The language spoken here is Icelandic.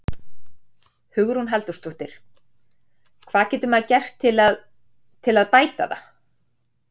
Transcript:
Hugrún Halldórsdóttir: Hvað getur maður gert til að, til að bæta það?